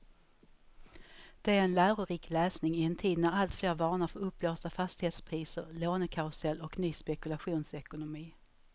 Det är en lärorik läsning i en tid när alltfler varnar för uppblåsta fastighetspriser, lånekarusell och ny spekulationsekonomi.